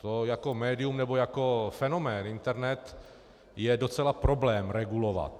To jako médium nebo jako fenomén internet je docela problém regulovat.